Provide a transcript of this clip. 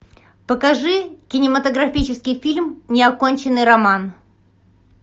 покажи кинематографический фильм неоконченный роман